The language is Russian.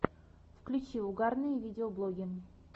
включи угарные видеоблоги